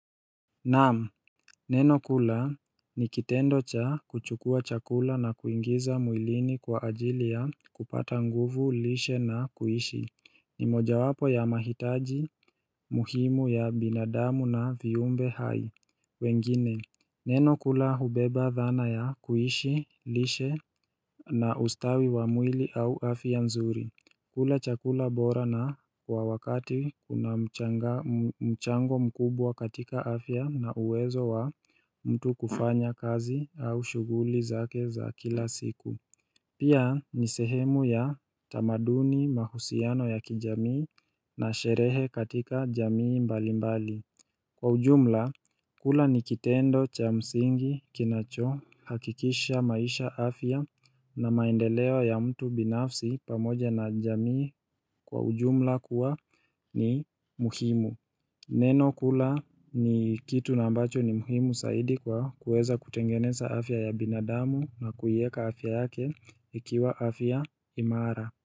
Naamu, neno kula ni kitendo cha kuchukua chakula na kuingiza mwilini kwa ajili ya kupata nguvu, lishe na kuishi ni moja wapo ya mahitaji muhimu ya binadamu na viumbe hai wengine, neno kula hubeba dhana ya kuishi, lishe na ustawi wa mwili au afya nzuri kula chakula bora na kwa wakati kuna mchango mkubwa katika afya na uwezo wa mtu kufanya kazi au shuguli zake za kila siku. Pia ni sehemu ya tamaduni mahusiano ya kijamii na sherehe katika jamii mbali mbali. Kwa ujumla, kula ni kitendo cha msingi kinacho hakikisha maisha afya na maendeleo ya mtu binafsi pamoja na jamii. Kwa ujumla kuwa ni muhimu. Neno kula ni kitu na ambacho ni muhimu saidi kwa kuweza kutengeneza afya ya binadamu na kuiweka afya yake ikiwa afya imara.